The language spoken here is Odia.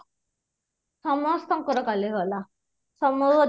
ସମସ୍ତଙ୍କର କାଲି ଗଲା ସମ